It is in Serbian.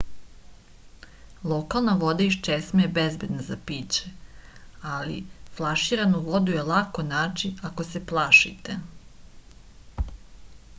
lokalna voda iz česme je bezbedna za piće ali flaširanu vodu je lako naći ako se plašite